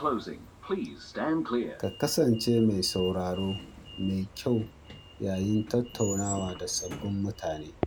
Ka kasance mai sauraro mai kyau yayin tattaunawa da sabbin mutane.